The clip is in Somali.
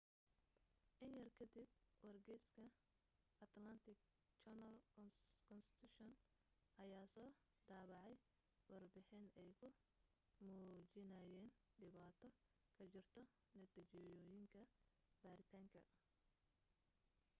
in yar ka dib wargeyska atlanta journal-constitution ayaa soo daabacay warbixin ay ku muujinayaan dhibaato ka jirto natiijooyinka baaritaanka